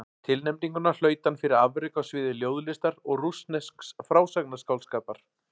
Tilnefninguna hlaut hann fyrir afrek á sviði ljóðlistar og rússnesks frásagnarskáldskapar.